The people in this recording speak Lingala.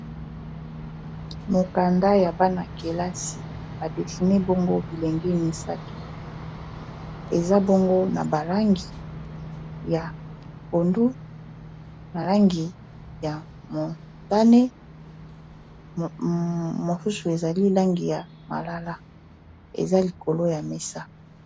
mokanda ya bana-kelasi badesiner bilenge misato eza bongo na balangi ya pondu malangi ya motane mosusu ezali langi ya malala eza likolo ya mesa